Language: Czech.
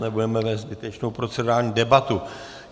Nebudeme vést zbytečnou procedurální debatu.